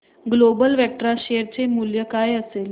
global Vectra share चे मूल्य काय असेल